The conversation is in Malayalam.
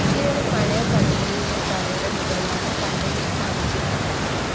നിലവില്‍ പഴയ കടമുറിയുടെ തറയുടെ മുകളിലാണ് കണ്ടയ്‌നര്‍ സ്ഥാപിച്ചിരുന്നത്